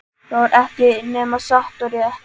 Það var ekki nema satt og rétt.